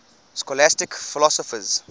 scholastic philosophers